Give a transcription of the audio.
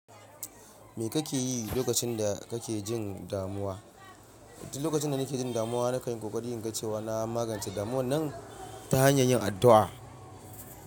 Me kake yi lokacin da kake jin damuwa? Lokacin da nake jin damuwa, na kan yi kokarin naga cewa. Na magance damuwa nan ta hanyar yin addu'a.